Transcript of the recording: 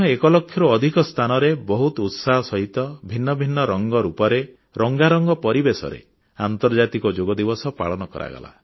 ଭାରତରେ ମଧ୍ୟ ଏକ ଲକ୍ଷରୁ ଅଧିକ ସ୍ଥାନରେ ବହୁତ ଉତ୍ସାହ ସହିତ ଭିନ୍ନ ଭିନ୍ନ ରଙ୍ଗରୂପରେ ବର୍ଣ୍ଣାଢ୍ୟ ପରିବେଶରେ ଆନ୍ତର୍ଜାତିକ ଯୋଗ ଦିବସ ପାଳନ କରାଗଲା